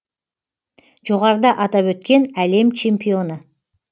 жоғарыда атап өткен әлем чемпионы